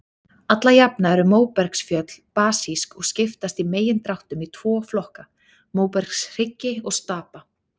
Alla jafna eru móbergsfjöll basísk og skiptast í megindráttum í tvo flokka, móbergshryggi og stapa.